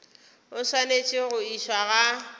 o swanetše go išwa go